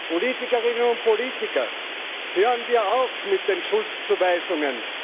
Politikerinnen und Politiker, hören wir auf mit den Schuldzuweisungen!